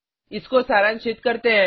इसको सारांशित करते हैं